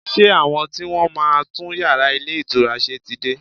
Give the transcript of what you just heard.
Ṣé àwọn tí wọ́n máa ń tún yàrá ilé ìtura ṣe ti dé?